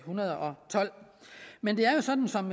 hundrede og tolv men det er jo sådan som